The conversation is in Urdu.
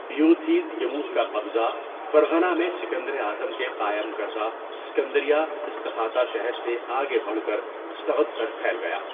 ایوتھیدیموس کا قبضہ فرغانہ میں سکندر اعظم کے قائم کردہ اسکندریہ اسخاتہ شہر سے آگے بڑھ کر سغد تک پھیل گیا۔